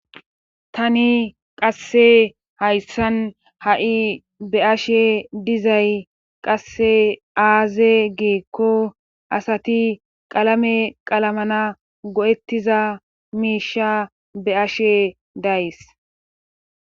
Tani qasse hayssan ha'i be ashe dizay qasse aaze geekko asati qalame qalamana go'ettiza miisha be ashe days.